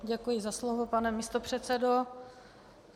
Děkuji za slovo, pane místopředsedo.